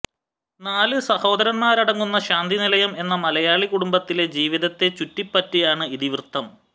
നാല് സഹോദരന്മാരടങ്ങുന്ന ശാന്തി നിലയം എന്ന മലയാളി കുടുംബത്തിലെ ജീവിതത്തെ ചുറ്റിപ്പറ്റിയാണ് ഇതിവൃത്തം